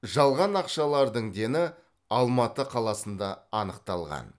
жалған ақшалардың дені алматы қаласында анықталған